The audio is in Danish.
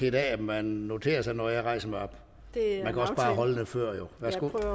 i dag at man noterer sig når jeg rejser mig op man kan